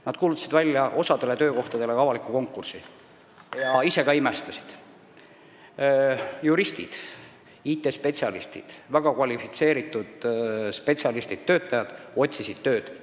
Nad kuulutasid osa töökohtade täitmiseks välja avaliku konkursi ja ise ka imestasid: juristid ja IT-töötajad, st väga kvalifitseeritud spetsialistid, otsisid Saaremaal tööd.